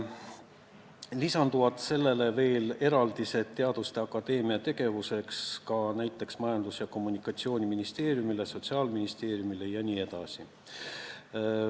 Lisanduvad veel eraldised Eesti Teaduste Akadeemia tegevuseks ka näiteks Majandus- ja Kommunikatsiooniministeeriumile, Sotsiaalministeeriumile jne.